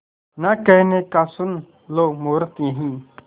ना कहने का सुन लो मुहूर्त यही